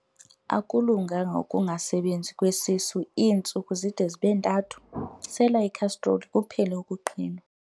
Akulunganga ukungasebenzi kwesisu iintsuku zide zibe ntathu, sela ikhastroli kuphele ukuqhinwa.